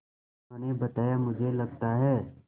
उन्होंने बताया मुझे लगता है